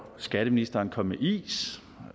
skatteministeren med is